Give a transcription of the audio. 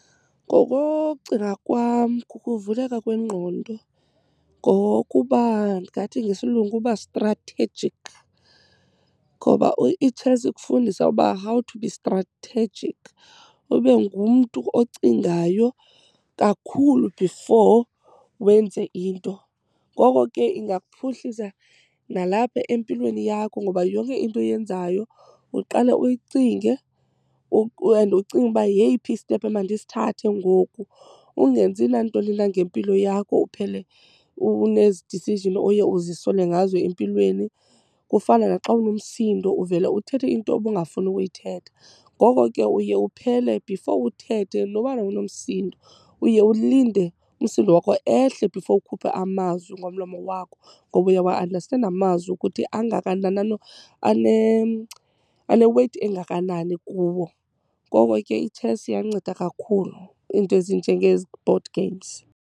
Ngokokucinga kwam kukuvuleka kwengqondo, ngokuba ndingathi ngesilungu kubastrathejikhi. Ngoba i-chess ikufundisa uba how to be strategic, ube ngumntu ocingayo kakhulu before wenze into. Ngoko ke ingakuphuhlisa nalapha empilweni yakho ngoba yonke into oyenzayo uqale uyicinge and ucinge uba yeyiphi istephu emandisithathe ngoku. Ungenzi nantoni na ngempilo yakho uphele unezi decision oye uzisole ngazo empilweni. Kufana naxa unomsindo uvele uthethe into obungafuni ukuyithetha. Ngoko ke uye uphele before uthethe nobana unomsindo uye ulinde umsindo wakho ehle before ukhuphe amazwi ngomlomo wakho, ngoba uyawa-andastenda amazwi ukuthi angakanani, ane-weight engakanani kuwo. Ngoko ke i-chess iyanceda kakhulu, iinto ezinjengezi board games.